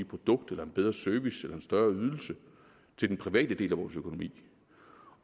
produkt eller en bedre service eller en større ydelse til den private del af vores økonomi